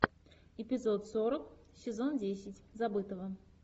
эпизод сорок сезон десять забытого